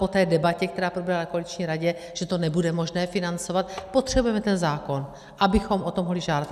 Po té debatě, která proběhla na koaliční radě, že to nebude možné financovat, potřebujeme ten zákon, abychom o to mohli žádat.